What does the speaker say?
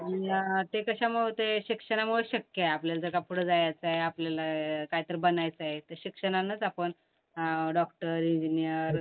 उम्म ते कशामुळं होतय? ते शिक्षणामुळं शक्य आहे. आपल्याला जगापुढं जायचंय, आपल्याला काहीतरी बनायचंय तर शिक्षणानंच आपण डॉक्टर, इंजिनियर